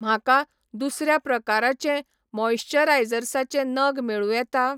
म्हाका दुसऱ्या प्रकाराचे मॉइश्चरायझर्साचे नग मेळूं येता?